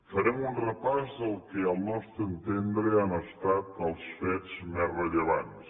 farem un repàs del que al nostre entendre han estat els fets més rellevants